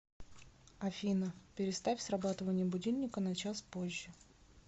афина переставь срабатывание будильника на час позже